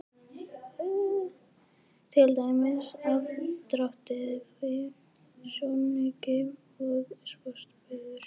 Til dæmis: aðdráttarafl, sjónauki og sporbaugur.